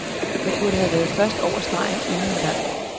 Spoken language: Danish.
Jeg burde have været først over stregen endnu flere gange.